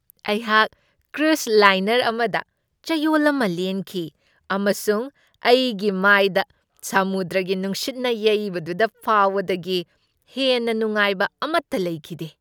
ꯑꯩꯍꯥꯛ cruise liner ꯑꯃꯗ ꯆꯌꯣꯜ ꯑꯃ ꯂꯦꯟꯈꯤ, ꯑꯃꯁꯨꯡ ꯑꯩꯒꯤ ꯃꯥꯏꯗ ꯁꯃꯨꯗ꯭ꯔꯒꯤ ꯅꯨꯡꯁꯤꯠꯅ ꯌꯩꯕꯗꯨꯗ ꯐꯥꯎꯕꯗꯒꯤ ꯍꯦꯟꯅ ꯅꯨꯡꯉꯥꯏꯕ ꯑꯃꯠꯇ ꯂꯩꯈꯤꯗꯦ꯫